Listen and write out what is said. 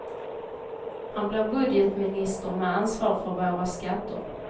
Han blir budgetminister med ansvar för våra skatter.